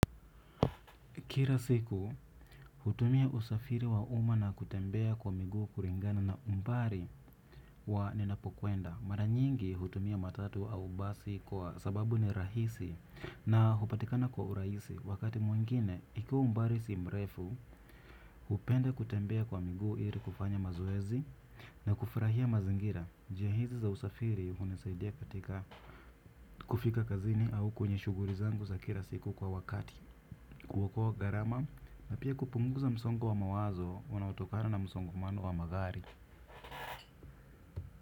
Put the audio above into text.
Kila siku, hutumia usafiri wa umma na kutembea kwa miguu kuringana na umbari wa ninapokwenda. Maranyingi hutumia matatu au basi kwa sababu ni rahisi na hupatikana kwa uraisi. Wakati mwengine, ikiwa umbari si mrefu, hupenda kutembea kwa miguu ili kufanya mazoezi na kufurahia mazingira. Jia hizi za usafiri hunisaidia katika kufika kazini au kwenye shughuri zangu za kira siku kwa wakati. Kuokoa gharama na pia kupunguza msongo wa mawazo unaotokana na msongo mano wa magari.